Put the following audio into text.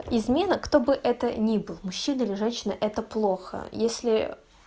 измена кто бы это ни был мужчина или женщина это плохо если